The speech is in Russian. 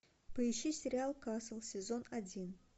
поищи сериал касл сезон один